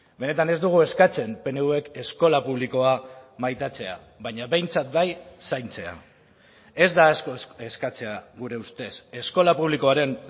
benetan ez dugu eskatzen pnvk eskola publikoa maitatzea baina behintzat bai zaintzea ez da asko eskatzea gure ustez eskola publikoaren